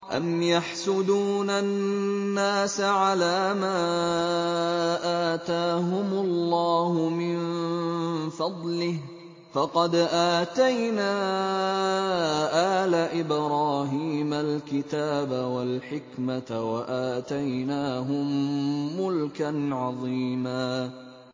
أَمْ يَحْسُدُونَ النَّاسَ عَلَىٰ مَا آتَاهُمُ اللَّهُ مِن فَضْلِهِ ۖ فَقَدْ آتَيْنَا آلَ إِبْرَاهِيمَ الْكِتَابَ وَالْحِكْمَةَ وَآتَيْنَاهُم مُّلْكًا عَظِيمًا